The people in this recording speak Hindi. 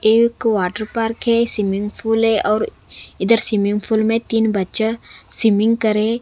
एक वाटर पार्क है स्विमिंग पूल है और इधर स्विमिंग पूल में तीन बच्चा स्विमिंग करें--